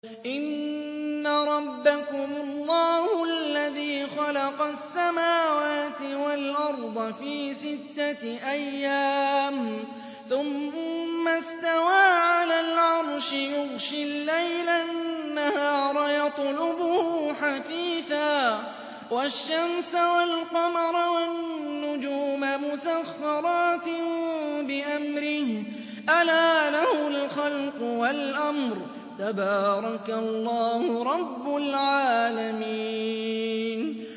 إِنَّ رَبَّكُمُ اللَّهُ الَّذِي خَلَقَ السَّمَاوَاتِ وَالْأَرْضَ فِي سِتَّةِ أَيَّامٍ ثُمَّ اسْتَوَىٰ عَلَى الْعَرْشِ يُغْشِي اللَّيْلَ النَّهَارَ يَطْلُبُهُ حَثِيثًا وَالشَّمْسَ وَالْقَمَرَ وَالنُّجُومَ مُسَخَّرَاتٍ بِأَمْرِهِ ۗ أَلَا لَهُ الْخَلْقُ وَالْأَمْرُ ۗ تَبَارَكَ اللَّهُ رَبُّ الْعَالَمِينَ